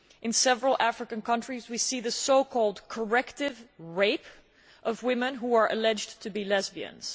In several African countries we see the so called corrective' rape of women who are alleged to be lesbians.